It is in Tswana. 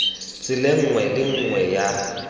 tseleng nngwe le nngwe ya